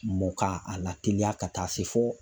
Mɔ ka a lateliya ka taa se fɔ